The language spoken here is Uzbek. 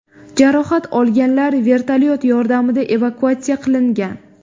Jarohat olganlar vertolyot yordamida evakuatsiya qilingan.